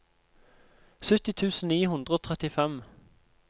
sytti tusen ni hundre og trettifem